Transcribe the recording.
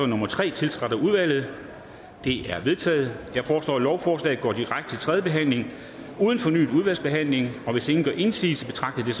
nummer tre tiltrådt af udvalget det er vedtaget jeg foreslår at lovforslagene går direkte til tredje behandling uden fornyet udvalgsbehandling hvis ingen gør indsigelse betragter jeg